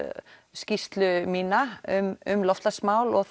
skýrslu mína um um loftslagsmál og